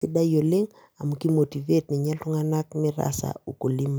sidai oleng' amu kimotivate ninye iltung'anak metaasa ukulima.